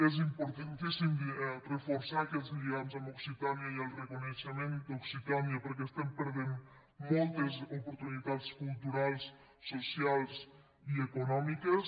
és importan·tíssim reforçar aquests lligams amb occitània i el re·coneixement d’occitània perquè estem perdent mol·tes oportunitats culturals socials i econòmiques